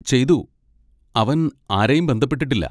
ചെയ്തു, അവൻ ആരെയും ബന്ധപ്പെട്ടിട്ടില്ല.